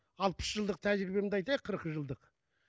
алпыс жылдық тәжірибемді айтайық қырық жылдық